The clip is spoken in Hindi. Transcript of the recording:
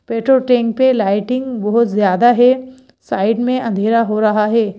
पेट्रोल टैंक पे लाइटिंग बहुत ज्यादा है साइड में अंधेरा हो रहा है।